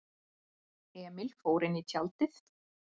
Emil fór inní tjaldið.